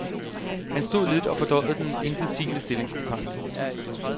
Han stod lidt og fordøjede den intetsigende stillingsbetegnelse.